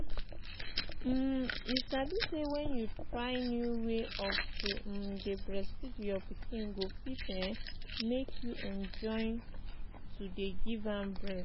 um you sabi say when you try new way of to um dey breastfeed your pikin go fit um make you enjoy yo dey give am breast